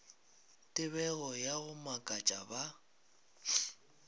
tebego ya go makatša ba